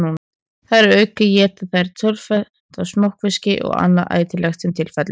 Þar að auki éta þeir töluvert af smokkfiski og annað ætilegt sem til fellur.